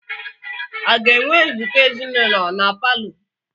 A ga-enwe nzukọ ezinụlọ na palọ?